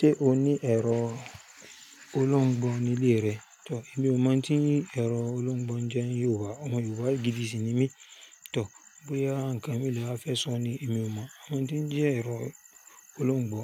Ṣé o ní ẹ̀rọ olóńgbò nílé rẹ? Tò, èmi ò mọ̀ tí ẹ̀rọ olóńgbò ń jẹ́ ní Yorùbá. Ọmọ Yorùbá gidi sì ni mí. Tò, bóyá nǹkan mí lè wa fẹ́ sọ ni èmi ò mọ̀. Mo mọ̀ tí ń jẹ́ ẹ̀rọ olóńgbò.